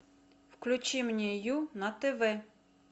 включи мне ю на тв